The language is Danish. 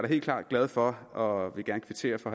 helt klart glad for og vil gerne kvittere for